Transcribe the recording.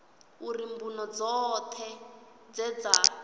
uri mbuno dzoṱhe dze dza